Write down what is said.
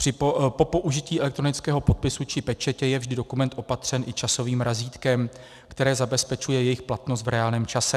Po použití elektronického podpisu či pečetě je vždy dokument opatřen i časovým razítkem, které zabezpečuje jejich platnost v reálném čase.